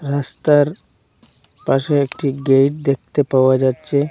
রাস্তার পাশে একটি গেট দেখতে পাওয়া যাচ্ছে।